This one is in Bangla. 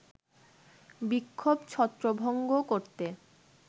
বিক্ষোভ ছত্রভঙ্গ করতে